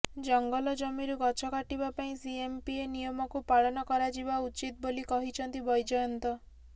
ଜଙ୍ଗଲ ଜମିରୁ ଗଛ କାଟିବା ପାଇଁ ସିଏଏମ୍ପିଏ ନିୟମକୁ ପାଳନ କରାଯିବା ଉଚିତ୍ ବୋଲି କହିଛନ୍ତି ବୈଜୟନ୍ତ